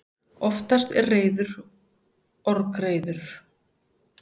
Oftast er reiður orgreiður.